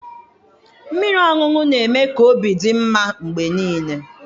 Mmiri ọṅụṅụ na-eme ka obi dị mma mgbe niile